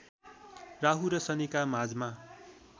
राहुु र शनिका माझमा